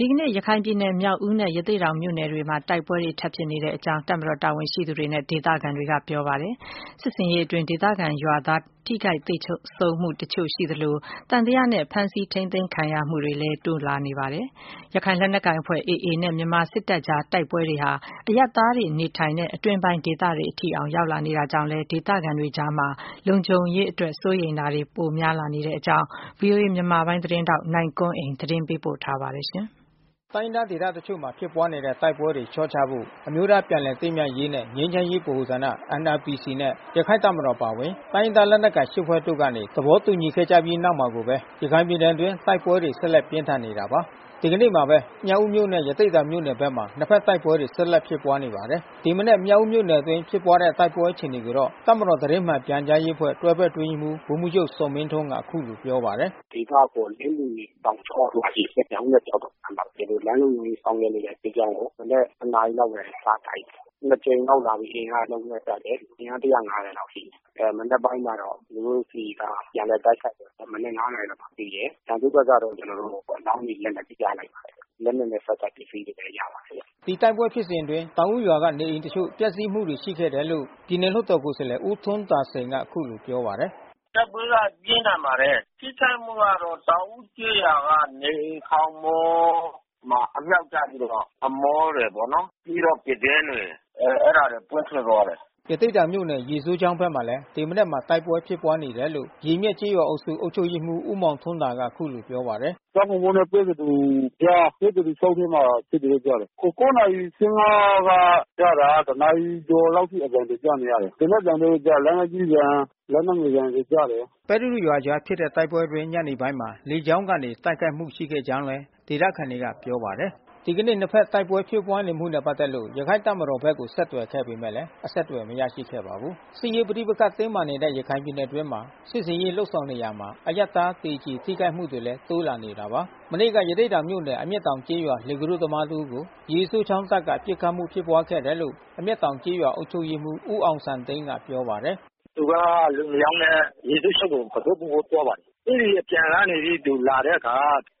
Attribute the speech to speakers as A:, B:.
A: ဒီကနေ့ ရခိုင်ပြည်နယ် မြောက်ဦးမြို့နယ်နဲ့ရသေ့ တောင် မြို့နယ် ထဲမှာ တိုက်ပွဲတွေ ထပ်မံ ဖြစ်ပွားနေတယ်လို့ တပ်မတော်တာဝန်ရှိသူတွေနဲ့ ဒေသခံတွေက ပြောပါတယ်။ စစ်ဆင်ရေးအတွင်း ဒေသခံရွာသား ထိခိုက်သေဆုံးမှုတချို့ ရှိသလို၊ သံသယနဲ့ ဖမ်းဆီးထိန်းသိမ်းခံရမှုတွေလည်း တိုးလာနေပါတယ်။ ရခိုင်လက်နက်ကိုင်အဖွဲ့ AA နဲ့ မြန်မာစစ်တပ်ကြား တိုက်ပွဲတွေဟာ အရပ်သားပြည်သူတွေ နေထိုင်ရာ အတွင်းပိုင်းဒေသတွေအထိ ဝင်ရောက်လာနေတာကြောင့် ဒေသခံတွေကြား လုံခြုံရေး စိုးရိမ်မှုတွေ ပိုများလာနေတဲ့အကြောင်း ဗွီအိုအေမြန်မာပိုင်း သတင်းထောက်နိုင်ကွန်းအိန်ကနေ သတင်းပေးပို့ထားပါတယ်။ တိုင်းရင်းသားဒေသတချို့မှာ ဖြစ်ပွားနေတဲ့ တိုက်ပွဲတွေ လျှော့ချဖို့ အမျိုးသားပြန်လည် သင့်မြတ်ရေးနှင့် ငြိမ်းချမ်း ရေးဗဟိုဌာန နဲ့ ရခိုင့်တပ်မတော်အပါဝင် တိုင်းရင်းသား လက်နက်ကိုင် ဖွဲ့တို့ကနေ သဘောတူညီခဲ့ကြပြီး နောက်မှာကိုပဲ ရခိုင်ပြည်နယ်အတွင်း တိုက်ပွဲတွေ ဆက်လက် ပြင်းထန်နေတာပါ။ ဒီကနေ့မှာကိုပဲ မြောက်ဦးနဲ့ ရသေ့တောင်မြို့နယ်ဘက်မှာ နှစ်ဘက်တိုက်ပွဲတွေ ဆက်လက်ဖြစ်ပွားနေပါတယ်။ ဒီမနက်မြောက်ဦးမြို့နယ်အတွင်းဖြစ်ပွါးတဲ့တိုက်ပွဲအခြေအနေကိုတော့ တပ်မတော်သတင်းမှန် ပြန်ကြားရေး အဖွဲ့ တွဲဘက်အတွင်းရေးမှူး ဗိုလ်မှူးချုပ်ဇော်မင်းထွန်းကအခုလိုပြောပါတယ်။
B: “ဒေသအခေါ်လင်းမြွေတောင်ကျော မြောက်ဦးနဲ့ကျောက်တော်အကြားမှာ ကျွန်တော်တို့လမ်းလုံခြုံရေး ဆောင်ရွက် နေတဲ့စစ်ကြောင်းကို မနက်တနာရီလောက်ကနေ စတိုက်တယ်။ နှစ်ကြိမ်လောက်လာပြီး အင်အားအလုံး အရင်းနဲ့ တိုက်တယ်။ အင်အား လောက်ရှိတယ်။ မနက်ပိုင်းကတော့ ကျွန်တော်တို့ဆီက ပြန်လည်တိုက်ခိုက်တယ်။ မနက် နာရီမှပြီးတယ်။ ရန်သူ့ဘက်ကတော့ ကျွန်တော်တို့ အလောင်းတွေ လက်နက်တွေ ရလိုက်ပါတယ်။ လက် နက်နဲ့ ဆက်စပ်ပစ္စည်းတွေလည်းရလိုက်ပါတယ်
A: ။” ဒီတိုက်ပွဲဖြစ်စဉ်အတွင်း တောင်ဦးရွာကနေအိမ် တချို့ပျက်စီးမှုရှိခဲ့တယ်လို့ ပြည်နယ်လွှတ်တော်ကိုယ်စားလှယ် ဦးထွန်းသာစိန်ကအခုလိုပြောပါတယ်။
B: “တိုက်ပွဲကပြင်းထန်ပါတယ်။ ထိခိုက်မှုကတော့ တောင်ဦးကျေးရွာကနေအိမ်ခေါင်မိုးမှာ အမြှောက်ကျပြီးတော့ အမိုးတွေပေါ့နော် ပြီးတော့ ပြတင်းပေါက်တွေ ပွင့်ထွက်သွားတယ်။”
A: ရသေ့တောင်မြို့နယ် ရေစိုးချောင်းဘက်မှာလဲ ဒီမနက်မှာ တိုက်ပွဲဖြစ်ပွား နေတယ်လို့ ရေမျက်ကျေးရွာအုပ်စု အုပ် ချုပ်ရေးမှူး ဦးမောင်ထွန်းသာကပြောပါတယ်။ “ကျ
B: ောက်ကုန်ပုတ်နဲ့ပဲသဒူကြား ၊ ပဲသဒူချောင်းထဲမှာဖြစ်တယ်လို့ကြားတယ်။ နာရီ က ကြားတာက နာရီ ကျော်လောက်အထိ အသံတွေကြားနေရတယ်။ သေနတ်သံတို့ လက်နက်ကြီးသံ လက်နက်ငယ်သံတွေကြားတယ်။
A: ” ပဲသဒူရွာအကြားဖြစ်တဲ့တိုက်ပွဲအတွင်း ညနေပိုင်းမှာ လေကြောင်းကနေ တိုက်ခိုက်မှု ရှိခဲ့ကြောင်းလည်း ဒေသသခံတွေကပြောပါတယ်။ ဒီကနေ့နှစ်ဖက်တိုက်ပွဲဖြစ်ပွားနေမှုနဲ့ပက်သက်လို့ရခိုင့်တပ်မတော်ဘက်ကိုဆက်သွယ်ခဲ့ပေမယ့်လဲအဆက်အသွယ်မရရှိခဲ့ပါဘူး။ စစ်ရေးပဋိပက္ခတင်းမာနေတဲ့ရခိုင်ပြည်နယ်အတွင်းမှာ စစ်ဆင်ရေးလုပ်ဆောင်နေရာမှာ အရပ်သား သေကြေ ထိခိုက်မှုတွေလည်း တိုးလာနေတာပါ။ မနေ့က ရသေ့တောင်မြို့နယ် အမျက်တောင်ကျေးရွာသား လှေကူးတို့ သမားတစ်ဦးကို ရေစိုးချောင်းတပ် က ပစ်ခတ်မှုဖြစ်ပွားခဲ့တယ်လို့ အမျက်တောင်ကျေးရွာအုပ်ချုပ်ရေးမှူး ဦးအောင်စံသိန်းကပြောပါတယ်။
B: “သူကလူနှစ်ယောက်နဲ့ ရေစိုးချောင်းကို ကူတို့ပို့ဖို့သွားပါတယ်။ အဲဒီအပြန်ကနေ သူလာတဲ့အခါ